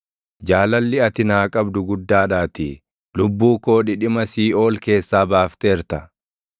Jaalalli ati naa qabdu guddaadhaatii; lubbuu koo dhidhima siiʼool keessaa baafteerta.